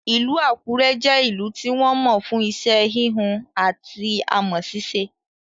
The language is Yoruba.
Ìlú Àkúrẹ́ jẹ́ ìlú tí wọ́n mọ̀ fún iṣẹ́ híhun ati amọ̀ sisé